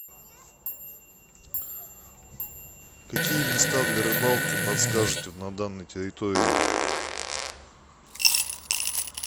какие места для рыбалки подскажете на данной территории